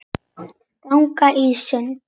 Gangan er sund.